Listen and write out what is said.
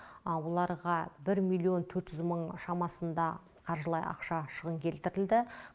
оларға бір миллион төрт жүз мың шамасында қаржылай ақша шығын келтірілді